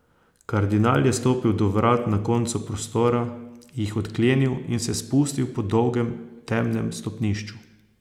Kardinal je stopil do vrat na koncu prostora, jih odklenil in se spustil po dolgem temnem stopnišču.